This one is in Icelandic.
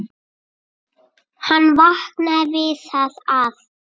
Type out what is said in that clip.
Hann vaknaði við það að